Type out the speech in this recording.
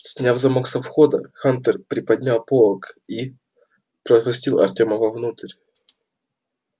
сняв замок со входа хантер приподнял полог и пропустил артема во внутрь